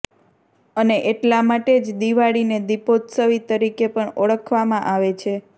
અને એટલા માટે જ દીવાળીને દીપોત્સવી તરીકે પણ ઓળખવામાં આવે છે